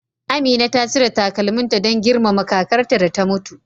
Amina ta cire takalminta don girmama kakarta da ta mutu.